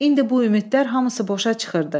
İndi bu ümidlər hamısı boşa çıxırdı.